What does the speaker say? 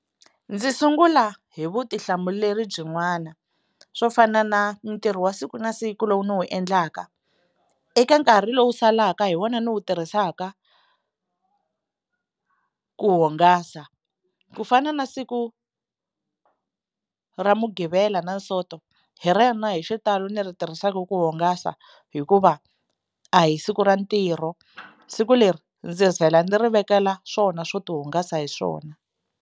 Ndzi sungula hi vutihlamuleri byin'wana swo fana na ntirho wa siku na siku lowu ni wu endlaka eka nkarhi lowu salaka hi wona ni wu tirhisaka ku hungasa, ku fana na siku ra mugqivela na sonto hi rona hi xitalo ni ri tirhisaka ku hungasa hikuva a hi siku ra ntirho, siku leri ndzi vhela ndzi ri vekela swona swo tihungasa hi swona.